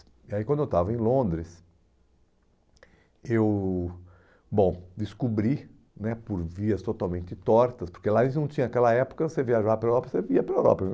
é, e aí quando eu estava em Londres, eu, bom, descobri né, por vias totalmente tortas, porque lá eles não tinham aquela época, você viajava pela Europa, você ia pela Europa.